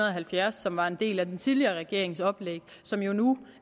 og halvfjerds som var en del af den tidligere regerings oplæg og som jo nu